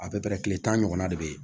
A bɛɛ bɛ kile tan ɲɔgɔnna de bɛ yen